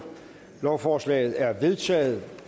lovforslaget er vedtaget